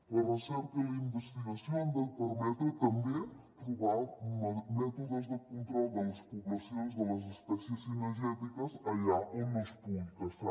la recerca i la investigació han de permetre també trobar mètodes de control de les poblacions de les espècies cinegètiques allà on no es pugui caçar